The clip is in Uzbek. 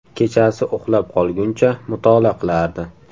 Kechasi uxlab qolguncha mutolaa qilardi.